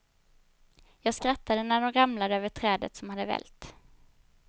Jag skrattade när de ramlade över trädet som hade vält.